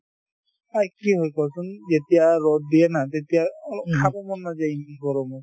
হয়, কি হয় কোৱাচোন যেতিয়া ৰদ দিয়ে না তেতিয়া অলপ খাব মন নাযায় এই এই গৰমত